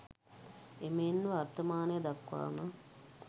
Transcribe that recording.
එමෙන්ම වර්තමානය දක්වාම